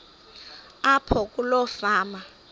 apho kuloo fama